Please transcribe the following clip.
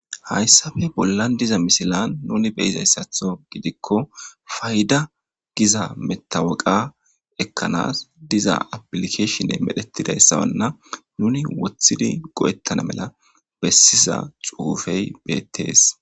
Haysape bolan de'iza misilen nuni be'izasato gidiko payda giza metaweka ekanas diza applicatione medhetidaysana nini wothidi go'etana mala beesiza xuufe beetes.